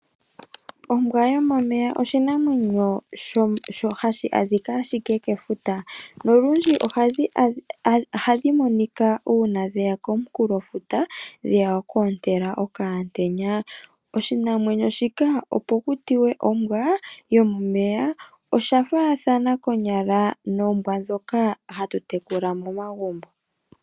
Ombwa yomomeya oshinamwenyo hashi adhika ashike kefuta nolundji ohadhi monika uuna dhe ya komunkulofuta dhe ya oku ontela okaantenya. Oshinamwenyo shika opo ku tiwe ombwa yomomeya osha faathana konyala noombwa ndhoka hatu tekula momagumbo.